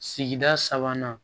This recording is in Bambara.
Sigida sabanan